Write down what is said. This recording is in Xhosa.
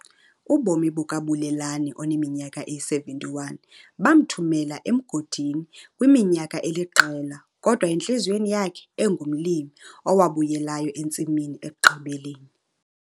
Ubomi bukaBulelani oneminyaka eyi-71 bamthumela emgodini kwiminyaka eliqela kodwa entliziyweni yakhe engumlimi owabuyelayo entsimini ekugqibeleni.